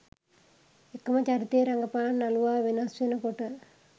එකම චරිතය රඟපාන නළුවා වෙනස් වෙනකොට.